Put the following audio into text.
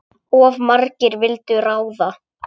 Of margir vildu ráða.